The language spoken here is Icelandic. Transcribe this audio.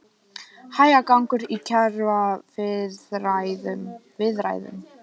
Hægagangur í kjaraviðræðum